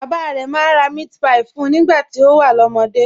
Bàbá rẹ̀ máa ń ra meatpie fún un nígbà tó wà lọ́mọdé